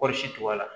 Kɔɔri si to a la